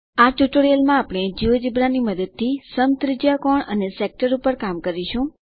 આ ટ્યુટોરીયલમાં આપણે જિયોજેબ્રા ની મદદથી સમત્રિજ્યાકોણ અને સેક્ટર પર કામ કરીશું